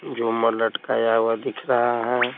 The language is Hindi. झुमर लटकाया हुआ दिख रहा है।